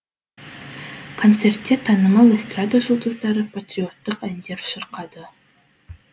концертте танымал эстрада жұлдыздары патриоттық әндер шырқады